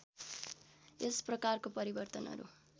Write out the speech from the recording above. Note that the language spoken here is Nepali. यस प्रकारको परिवर्तनहरू